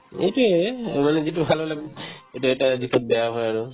এইটোয়ে এই মানে যিটো ভালৰ লগত এতিয়া এটা দিশত বেয়া হয় আৰু